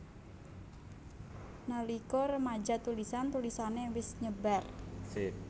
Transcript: Nalika remaja tulisan tulisané wis nyebar